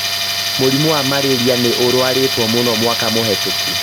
mũrimũ wa mararia nĩ ũrarwaritwo mũno mwaka mũhetũku